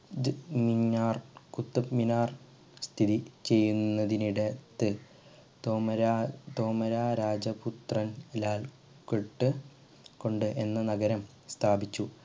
ദ് മിനാർ കുത്ബ് മിനാർ സ്ഥിചെയുന്നതിനിട ത്ത് തോമര തോമരരാജപുത്രൻ ലാൽ പെട്ട് കൊണ്ട് എന്ന നഗരം സ്ഥാപിച്ചു